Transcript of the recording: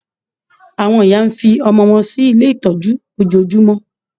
Àwọn ìyá ń fi ọmọ wọn sí ilé itọju ojojúmọ́